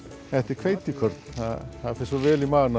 þetta er hveitikorn það fer svo vel í magann